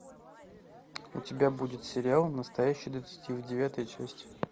у тебя будет сериал настоящий детектив девятая часть